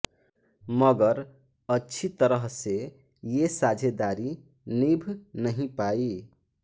मगर अच्छी तरह से ये साझेदारी निभ नहीं पाई